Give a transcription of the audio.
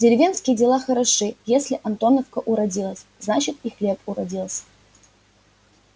деревенские дела хороши если антоновка уродилась значит и хлеб уродился